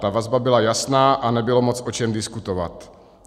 Ta vazba byla jasná a nebylo moc o čem diskutovat.